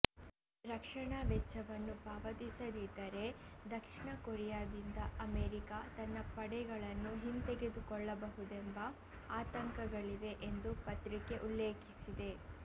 ರಕ್ಷಣಾ ವೆಚ್ಚವನ್ನು ಪಾವತಿಸದಿದ್ದರೆ ದಕ್ಷಿಣ ಕೊರಿಯಾದಿಂದ ಅಮೆರಿಕ ತನ್ನ ಪಡೆಗಳನ್ನು ಹಿಂತೆಗೆದುಕೊಳ್ಳಬಹುದೆಂಬ ಆತಂಕಗಳಿವೆ ಎಂದು ಪತ್ರಿಕೆ ಉಲ್ಲೇಖಿಸಿದೆ